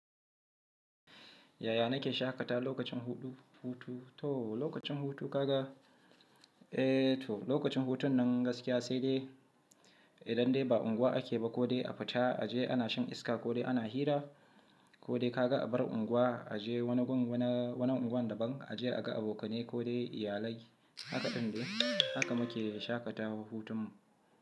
Yaya na ke shaƙata lokacin hutu? To, lokacin hutu ka ga, eh to lokacin hutun nan gaskiya sai dai idan dai ba unguwa ake ba ko dai a fita a je ana shan iska ko dai ana hira ko dai ka ga a bar unguwa a je wani gun, wani unguwan daban a je a ga abokanai ko dai iyalai. Haka din dai haka mu ke shaƙatawan hutun mu.